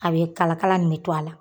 A bɛ kalakala nin bɛ to a la